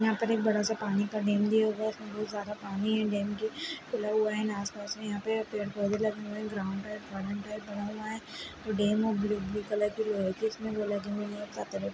यहाँ पर एक बड़ा सा पानी का डैम भी होगा उसमे बहुत सारा पानी है डैम पे खुला हुआ है आस-पास में यहाँ पे पेड़-पौधे लगे हुए हैं बना हुआ है जो डैम है वो ब्लू-ब्लू कलर की लोहे की इसमें वो लगी हुई हैं पतानी।